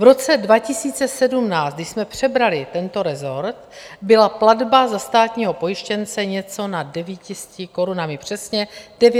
V roce 2017, když jsme přebrali tento resort, byla platba za státního pojištěnce něco nad 900 korunami, přesně 920 korun.